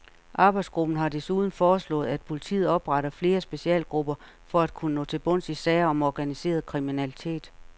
Arbejdsgruppen har desuden foreslået, at politiet opretter flere specialgrupper for at kunne nå til bunds i sager om organiseret kriminalitet.